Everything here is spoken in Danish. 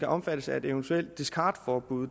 omfattet af et eventuelt discardforbud